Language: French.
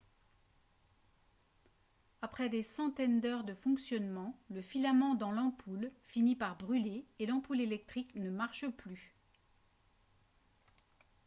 après des centaines d'heures de fonctionnement le filament dans l'ampoule finit par brûler et l'ampoule électrique ne marche plus